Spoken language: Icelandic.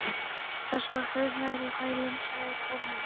Þar skall hurð nærri hælum, sagði Kormákur.